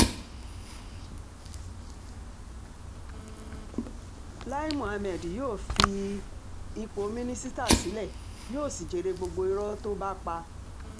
láì muhammed yóò fi ipò mínísítà sílẹ̀ yóò sì jèrè gbogbo irọ́ tó bá pa